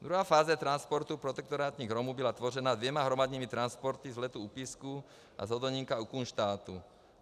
Druhá fáze transportu protektorátních Romů byla tvořena dvěma hromadnými transporty z Letů u Písku a z Hodonínka u Kunštátu.